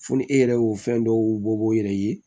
Fo ni e yɛrɛ y'o fɛn dɔw bɔ i yɛrɛ ye